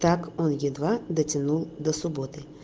так он едва дотянул до субботы